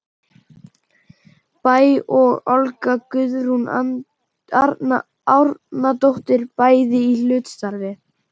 Bæ og Olga Guðrún Árnadóttir, bæði í hlutastarfi.